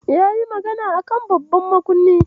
Yayi magana a kan babban makunnin?